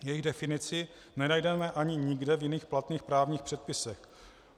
Jejich definici nenajdeme ani nikde v jiných platných právních předpisech.